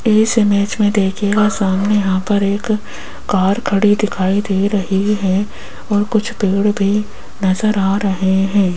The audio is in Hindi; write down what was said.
इस इमेज में देखिएगा सामने यहां पर एक कार खड़ी दिखाई दे रही है और कुछ पेड़ भी नजर आ रहे हैं।